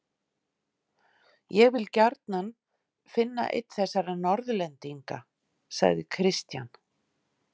Ég vil gjarnan finna einn þessara Norðlendinga, sagði Christian.